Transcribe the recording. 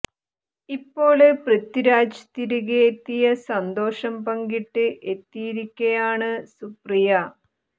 ഇപ്പോള് പൃഥിരാജ് തിരികേ എത്തിയ സന്തോഷം പങ്കിട്ട് എത്തിയിരിക്കയാണ് സുപ്രിയ